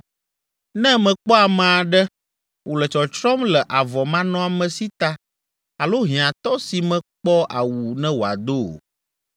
Ne mekpɔ ame aɖe wòle tsɔtsrɔ̃m le avɔmanɔamesi ta alo hiãtɔ si mekpɔ awu ne wòado o